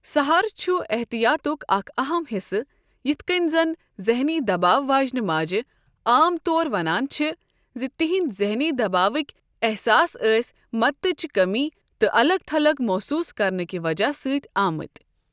سہارٕ چُھ احتِیاطُک اکھ اہم حِصہٕ، یِتھ کٔنۍ زن ذہنی دباو واجنہِ ماجہِ عام طور ونان چھےٚ زِ تِہِنٛدۍ ذہنی دباوٕکۍ احساس ٲسۍ مدتٕچہِ کٔمی تہٕ الگ تھلگ محسوٗس کرنہٕ کہ وجہ سۭتۍ آمٕتۍ۔